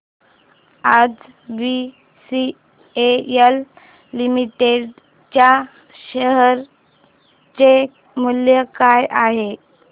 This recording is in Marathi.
आज बीसीएल लिमिटेड च्या शेअर चे मूल्य काय आहे